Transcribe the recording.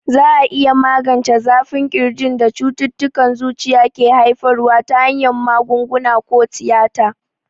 Za a iya magance zafin ƙirjin da cututtukan zuciya ke haifarwa ta hanyar magunguna ko tiyata.